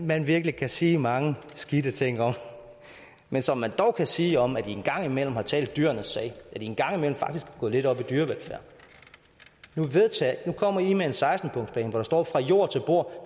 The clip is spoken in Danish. man virkelig kan sige mange skidte ting om men som man dog kan sige om at i en gang imellem har talt dyrenes sag at i en gang imellem faktisk er gået lidt op i dyrevelfærd nu kommer i med en seksten punktsplan hvor der står fra jord til bord og